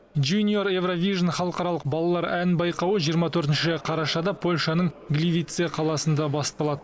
жуниор еуравижн халықаралық балалар ән байқауы жиырма төртінші қарашада польшаның гливице қаласында басталады